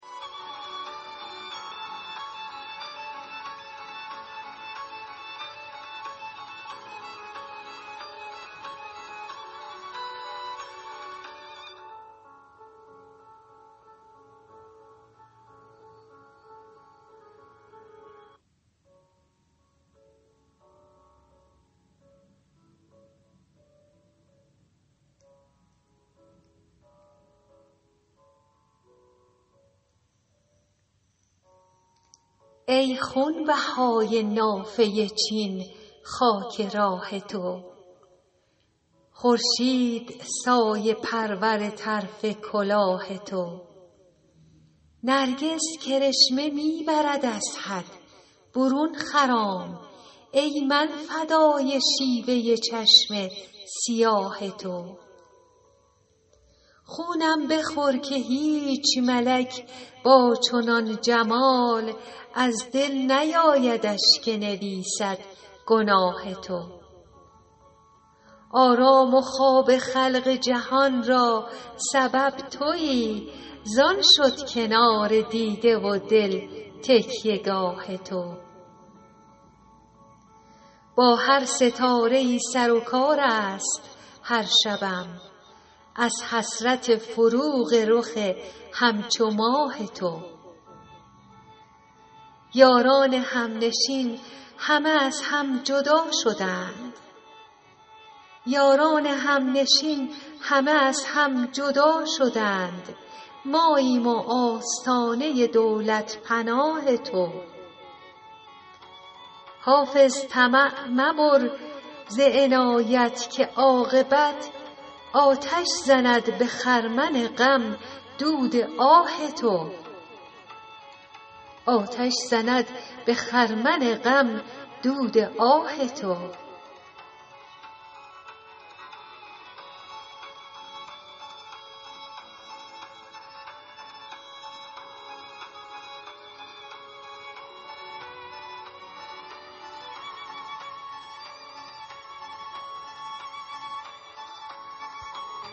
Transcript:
ای خونبهای نافه چین خاک راه تو خورشید سایه پرور طرف کلاه تو نرگس کرشمه می برد از حد برون خرام ای من فدای شیوه چشم سیاه تو خونم بخور که هیچ ملک با چنان جمال از دل نیایدش که نویسد گناه تو آرام و خواب خلق جهان را سبب تویی زان شد کنار دیده و دل تکیه گاه تو با هر ستاره ای سر و کار است هر شبم از حسرت فروغ رخ همچو ماه تو یاران همنشین همه از هم جدا شدند ماییم و آستانه دولت پناه تو حافظ طمع مبر ز عنایت که عاقبت آتش زند به خرمن غم دود آه تو